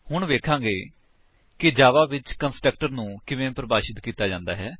ਹੁਣ ਵੇਖਾਂਗੇ ਕਿ ਜਾਵਾ ਵਿੱਚ ਕੰਸਟਰਕਟਰ ਨੂੰ ਕਿਵੇਂ ਪਰਿਭਾਸ਼ਿਤ ਕੀਤਾ ਜਾਂਦਾ ਹੈ